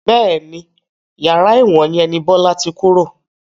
Bẹ́ẹ̀ni, yàrá ẹ̀wọ̀n yẹn ni Bọlá tí kúrò